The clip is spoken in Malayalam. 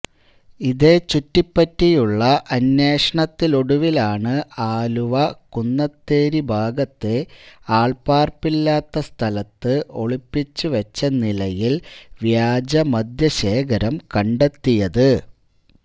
ഇതേ ചുറ്റിപ്പറ്റിയുള്ള അന്വേഷത്തിലൊടുവിലാണ് ആലുവ കുന്നത്തേരി ഭാഗത്തെ ആള് പാര്പ്പില്ലാത്ത സ്ഥലത്ത് ഒളിപ്പിച്ച് വച്ച നിലയില് വ്യാജമദ്യ ശേഖരം കണ്ടെത്തിയത്